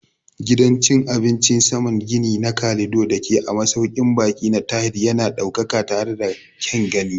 Gidan cin abincin saman gini na Calido dake a masaukin baƙi na Tahir yana da ɗaukaka tare da kyan gani.